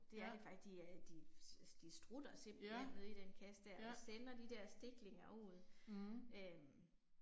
Ja. Ja. Ja. Mh